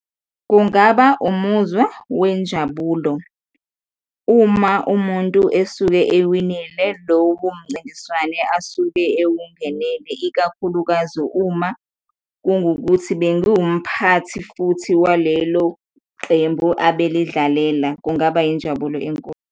Kungaba umuzwa wenjabulo uma umuntu esuke ewinile lowo mncintiswane asuke ewungenele, ikakhulukazi uma kungukuthi bengiwumphathi futhi waleloqembu abelidlalela, kungaba injabulo enkulu.